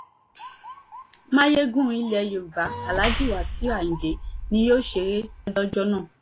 mayegun ilẹ̀ yorùbá aláàjì wàsíù ayinde ni yóò ṣeré lọ́jọ́ náà